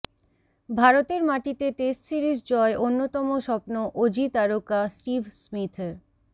ভারতের মাটিতে test series জয় অন্যতম স্বপ্ন অজি তারকা স্টিভ স্মিথের